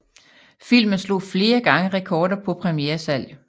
Filmen slog flere gange rekorder på premieresalg